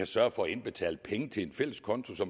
sørge for at indbetale penge til en fælles konto så